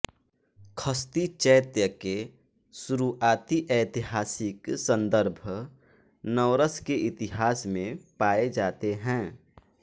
खस्ती चैत्य के शुरुआती ऐतिहासिक सन्दर्भ नवरस के इतिहास में पाए जाते हैं